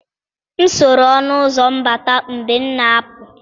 M soro ọnụ ụzọ mbata mgbe m na-apụ.